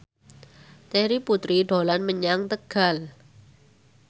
Terry Putri dolan menyang Tegal